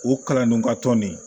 O kalan don ka tɔn nin